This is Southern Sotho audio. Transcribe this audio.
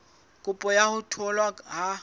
kopo ya ho tholwa ha